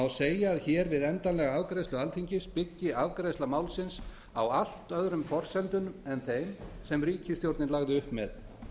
segja að við endanlega afgreiðslu alþingis byggi afgreiðsla málsins á allt öðrum forsendum en þeim sem ríkisstjórnin lagði upp með